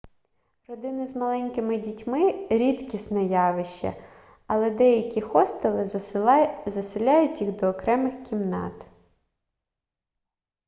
родини з маленькими дітьми рідкісне явище але деякі хостели заселяють їх до окремих кімнат